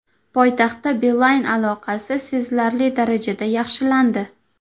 Poytaxtda Beeline aloqasi sezilarli darajada yaxshilandi.